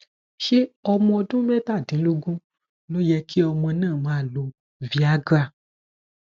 ṣé ọmọ ọdún mẹtàdínlógún ló yẹ kí ọmọ náà máa lo viagra